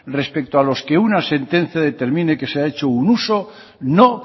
respecto a los que una sentencia determine que se ha hecho un uso no